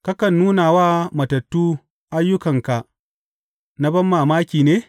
Kakan nuna wa matattu ayyukanka na banmamaki ne?